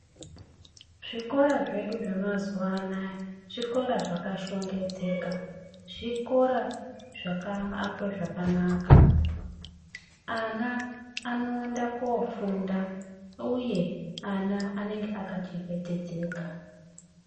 Zvikora zvedu zvemazuwa anaa zvikora zvakashongedzeka, zvikora zvakaakwe zvakanaka. Ana anoende koofunda, uye ana anenge akachengetedzeka.